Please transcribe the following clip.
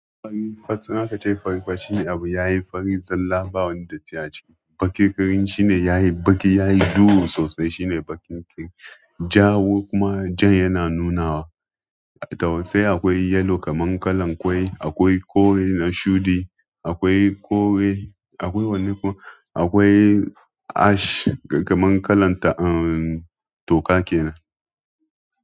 In akace abu yayi fari zilla ba wani datti aciki. Bakin ƙirin shine yayi baki, yayi duhu sosai shine bakin ƙir. Jawur kuma ja yana nunawa. Tausai akwai yellow kaman kalan ƙwai, akwai kore na shuɗi, akwai kore, akwai wanin kore, akwai ash kaman kalan ta'a toka kenan.